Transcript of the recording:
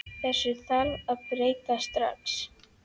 Þessu þarf að breyta strax.